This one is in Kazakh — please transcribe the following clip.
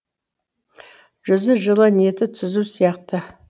жүзі жылы ниеті түзу сияқты